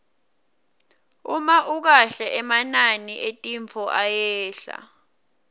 uma ukahle emanani etintfo ayehla